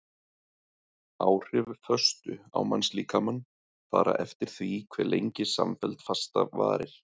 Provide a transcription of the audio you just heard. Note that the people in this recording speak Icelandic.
Áhrif föstu á mannslíkamann fara eftir því hve lengi samfelld fasta varir.